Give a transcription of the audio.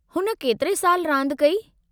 हुन केतिरे साल रांदि कई?